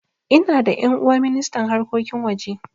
Ina da ƴan'uwa ministan harkokin waje